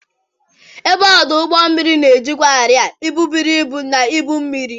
Ebe ọdụ ụgbọ mmiri na-ejikwa arịa, ibu buru ibu, na ibu mmiri.